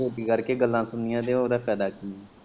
ਰੋਟੀ ਕਰਕੇ ਗੱਲਾਂ ਸੁਣਨੀਆ ਤੇ ਉਦਾ ਫੈਦਾ ਕੀ ਐ।